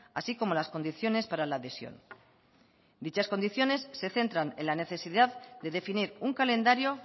así como las condiciones para la adhesión dichas condiciones se centran en la necesidad de definir un calendario